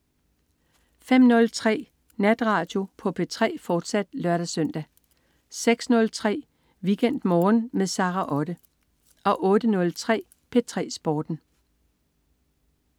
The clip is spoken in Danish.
05.03 Natradio på P3, fortsat (lør-søn) 06.03 WeekendMorgen med Sara Otte 08.03 P3 Sporten